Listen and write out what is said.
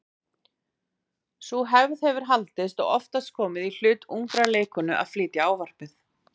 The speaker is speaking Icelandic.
Sú hefð hefur haldist og oftast komið í hlut ungrar leikkonu að flytja ávarpið.